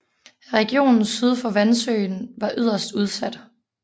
Regionen syd for Vansøen var yderst udsat